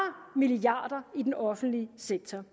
milliarder af i den offentlige sektor